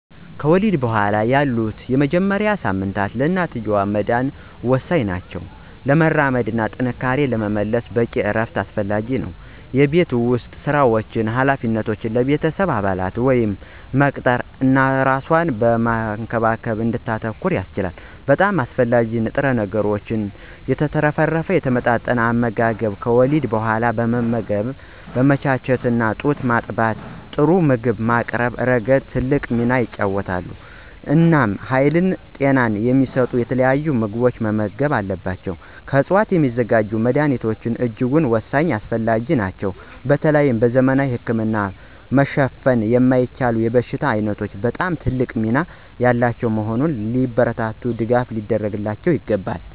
ከወሊድ በኋላ ያሉት የመጀመሪያዎቹ ሳምንታት ለእናትየው መዳን ወሳኝ ናቸው። ፈውስ ለማራመድ እና ጥንካሬን ለመመለስ በቂ እረፍት አስፈላጊ ነው። የቤት ውስጥ ሥራዎችን እና ኃላፊነቶችን ለቤተሰብ አባላት መስጠት ወይም መቅጠር እናት እራሷን በመንከባከብ ላይ እንድታተኩር ያስችላታል። በጣም አስፈላጊ በሆኑ ንጥረ ነገሮች የተትረፈረፈ የተመጣጠነ አመጋገብ ከወሊድ በኋላ ማገገምን በማመቻቸት እና ጡት በማጥባት ጥሩ ምግብ በማቅረብ ረገድ ትልቅ ሚና ይጫወታል። እናም ሀይልና ጤና የሚሰጡ የተለያዩ ምግቦችን መመገብ አለባቸው። ከዕፅዋት የሚዘጋጁ መድኀኒቶች እጅጉን ወሳኝና አስፈላጊ ናቸው በተለይ በዘመናዊ ህክምና መሸፈን የማይችሉ የበሽታ ዓይነቶች በጣም ትልቅ ሚና ያላቸው በመሆኑ ሊበረታቱና ድጋፍ ሊደረግላቸው ይገባል።